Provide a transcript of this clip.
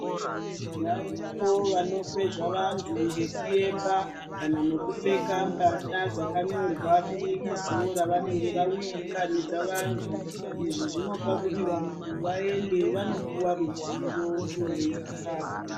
Varipo vanokwezva vantu ngekuyemba kana nekupfeka mbahla dzakanyorwa binikizo ravanenge vawi nganidza vantu, izvi zvinopa kuti vantu vaende vanopuwa ruzivo ivo veidakara.